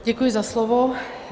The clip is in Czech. Děkuji za slovo.